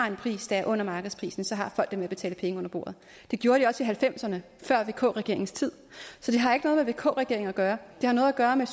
har en pris der er under markedsprisen så har folk det med at betale penge under bordet det gjorde de også halvfemserne før vk regeringens tid så det har ikke noget med vk regeringen at gøre det har noget at gøre med